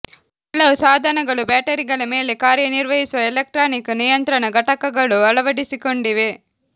ಕೆಲವು ಸಾಧನಗಳು ಬ್ಯಾಟರಿಗಳ ಮೇಲೆ ಕಾರ್ಯನಿರ್ವಹಿಸುವ ಎಲೆಕ್ಟ್ರಾನಿಕ್ ನಿಯಂತ್ರಣ ಘಟಕಗಳು ಅಳವಡಿಸಿಕೊಂಡಿವೆ